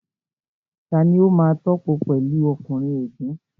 Tani ó máa tòpò pẹ̀lu ọkùnrin ègún?